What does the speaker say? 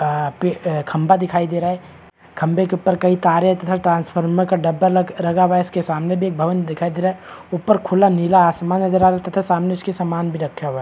आ पे खम्भा दिखाई दे रहा है खम्भे के ऊपर कई तारे तथा ट्रांसफार्मर का डब्बा लगा हुआ है इसके सामने भी एक भवन दिखाई दे रहा है ऊपर खुला नीला आसमान नज़र आ रहा है तथा इसके सामान भी रखा हुआ है।